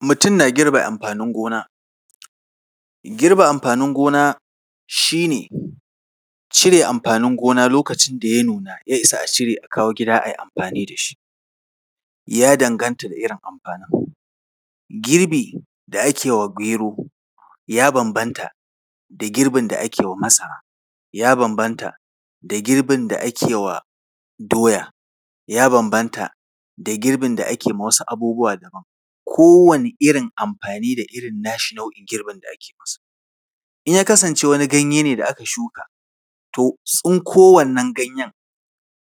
Mutum na girbe amfanin gona. Girbe amfanin gona shi ne ne cire amfanin gona lokacin da ya nuna, ya isa a cire a kawo gida a yi amfani da shi. Ya danganta da irin amfanin. Girbi da ake wa gero ya bambanta da girbin da ake wa masara, ya bambanta da girbin da ake wa doya, ya bambanta da girbin da ake ma wasu abubuwa daban, kowane irin amfani da irin nashi nau’in girbin da ake masa. In ya kasance wani ganye ne da aka shuka, to tsinko wannan ganyen,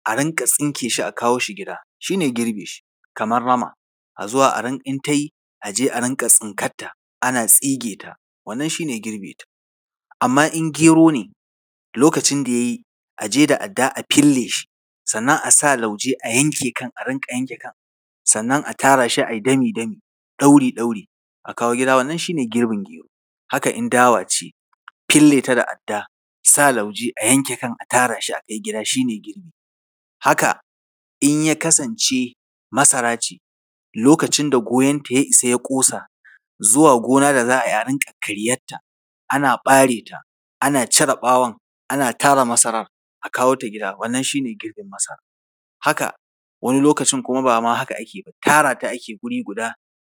a rinƙa tsinke shi a kawo shi gida, shi ne girbe shi. Kamar rama, a zo… in ta yi, a je a rinƙa tsinkarta, ana tsige ta, wannan shi ne girbinta. Amma in gero ne, lokacin da ya yi, a je da adda a fille shi, sannan a sa lauje a yanke kan, a rinƙa yanke kan, sannan a tara shi a yi dami-dami, ɗauri-ɗauri, wannan shi ne girbin gero. Haka in dawa ce, fille ta da adda, sa lauje a yanke kan a tara shi a kai gida, shi ne girbi. Haka in ya kasance masara ce, lokacin da goyonta ya isa, ya ƙosa, zuwa gona a za a yi a rinƙa karyarta, ana ɓare ta, ana cire ɓawon, ana tara masarar, a kawo ta gida, wannan shi ne girbin masara. Haka wani lokacin kuma ba ma haka ake ba, tara ta ake guri guda,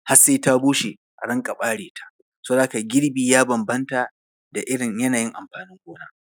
har sai ta bushe, a rinƙa ɓare ta. Saboda haka girbi ya bambanta da irin yanayi amfanin gona.